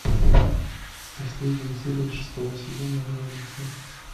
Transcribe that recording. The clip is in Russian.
последняя серия шестого сезона революция